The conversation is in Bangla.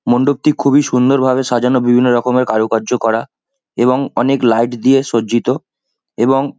মণ্ডপটি খুবই সুন্দর ভাবে সাজানো। বিভিন্ন রকমের কারুকার্য করা এবং অনেক লাইট দিয়ে সজ্জিত এবং--